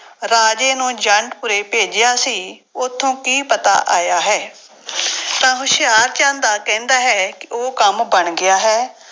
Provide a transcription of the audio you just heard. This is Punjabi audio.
ਰਾਜੇ ਨੂੰ ਜੰਡਪੁਰੇ ਭੇਜਿਆ ਸੀ ਉੱਥੋਂ ਕੀ ਪਤਾ ਆਇਆ ਹੈ ਤਾਂ ਹੁਸ਼ਿਆਰਚੰਦ ਆ ਕਹਿੰਦਾ ਹੈ ਕਿ ਉਹ ਕੰਮ ਬਣ ਗਿਆ ਹੈ,